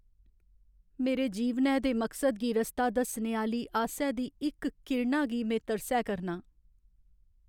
मेरे जीवनै दे मकसद गी रस्ता दस्सने आह्‌ली आसै दी इक किरणा गी में तरसै करनां ।